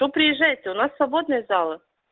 то приезжайте у нас свободные залы